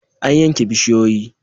An yanke bishiyoyi?